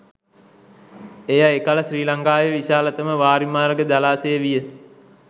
එය එකල ශ්‍රී ලංකාවේ විශාලතම වාරිමාර්ග ජලාශය විය.